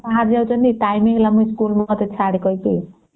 ସାର ଯୁଇଛନ୍ତି school କୁ time ରେ ଆମକୁ ଛାଡ଼ କାହିଁକି